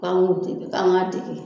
K'an ko dege k'an ka dege.